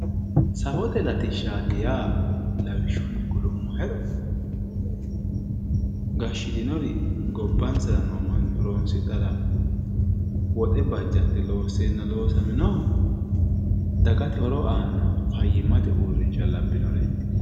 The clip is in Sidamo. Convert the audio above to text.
Safote latishshati yaa lawishshunni kulummohero gashitinori gobbansara noo manni horonsidhara woxe bajate loossenna loosaminohu dagate horo aanohu fayyimate uurrinsha labbinore.